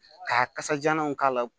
Ka kasajalanw k'a la